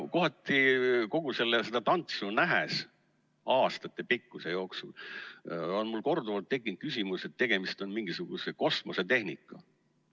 Kohati, kogu seda tantsu nähes, aastatepikkuse aja jooksul, on mul korduvalt tekkinud küsimus, kas tegemist on mingisuguse kosmosetehnikaga.